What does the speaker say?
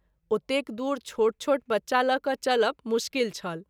ओतेक दुरी छोट छोट बच्चा ल’ क’ चलब मुश्किल छल।